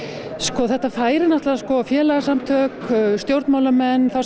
þetta færir náttúrulega félagasamtök stjórnmálamenn þá sem